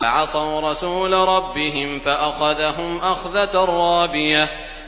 فَعَصَوْا رَسُولَ رَبِّهِمْ فَأَخَذَهُمْ أَخْذَةً رَّابِيَةً